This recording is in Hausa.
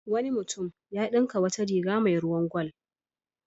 Wani mutunm ya dinka wata riga mai ruwan gwal.